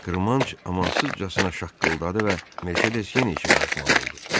Qırmanc amansızcasına şaqqıldadı və Mercedes yenə işə qarışmalı oldu.